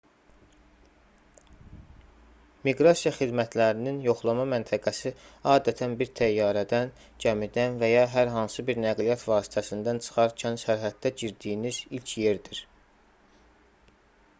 miqrasiya xidmətlərinin yoxlama məntəqəsi adətən bir təyyarədən gəmidən və ya hər hansı bir nəqliyyat vasitəsindən çıxarkən sərhəddə girdiyiniz ilk yerdir